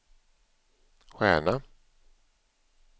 stjärna